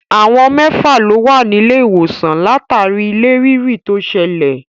Àwọn mẹ́fà lo wà nílé ìwòsàn látàrí ilẹ̀ rírì tó ṣẹlẹ̀.